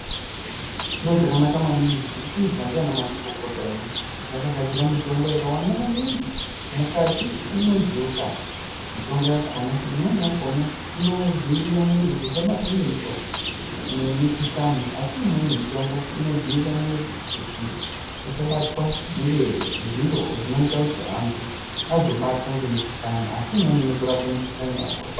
Chiro chakanaka maningi chiri kuizwa ndiana mazvikokota edu, Kuti akagadzira mitombo yakawanda maningi mukati mwezveutano. Mitombo yakona, imweni yakona inodziirirwa mwiri kuti isabatwa ngemitombo nemikuhlani asi imweni mitombo inodziirira mwiri kutj usabatwa ngezviro zvinoita kuti antu azobatwa ngemikuhlani asi imweni inotorape mikuhlani yakona.